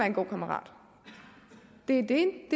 en god kammerat det er det